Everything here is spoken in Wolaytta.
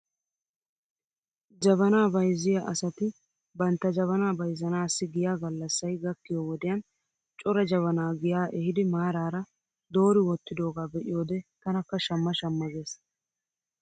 Jabanaa bayzziyaa asati bantta jabanaa bayzzanaassi giya gallasay gakkiyoo wodiyan cora jabanaa giyaa ehidi maaraara doori wottidoogaa be'iyoode tanakka shamma shamma gees.